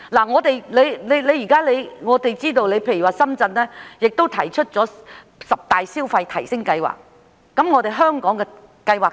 我們知道，深圳已提出十大消費提升計劃，我們香港又有何計劃呢？